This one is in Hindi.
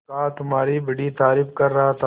बड़का तुम्हारी बड़ी तारीफ कर रहा था